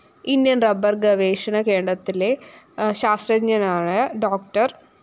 Indian‍ റബ്ബര്‍ഗവേഷണകേണ്ടത്തിലെ ശാസ്ത്രജ്ഞരായ ഡോ